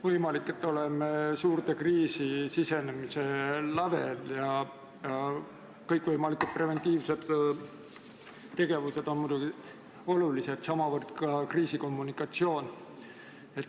Võimalik, et oleme suurde kriisi sisenemise lävel ja kõik võimalikud preventiivsed tegevused on muidugi olulised, sh ka kriisikommunikatsioon.